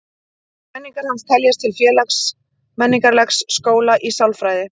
Kenningar hans teljast til félags-menningarlegs skóla í sálfræði.